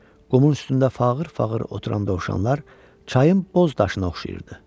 Qumun üstündə fağır-fağır oturan dovşanlar çayın boz daşına oxşayırdı.